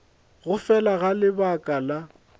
go fela ga lebaka la